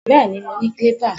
Bẹ́ẹ̀ni, mo ní clipper